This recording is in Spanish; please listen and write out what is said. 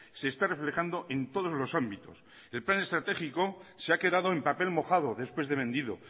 se está reflejando en todos los ámbitos el plan estratégico se ha quedado en papel mojado después de vendido